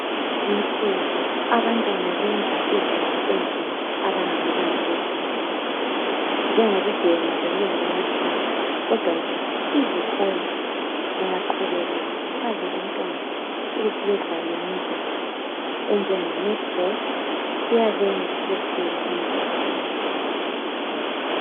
Kulezinsuku abantwana benza izinto ezimbi abangamelanga bezenze njengokubhema lokuyenza amadrugs .Kodwa ke izikolo zingaqhubeka zikhuthaza abantwana ukuthi bedlale imidlalo enjenge netball kuyabenza besuke engozini.